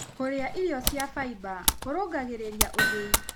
Kũrĩa irio cia faĩba kũrũngagĩrĩrĩa ũthĩĩ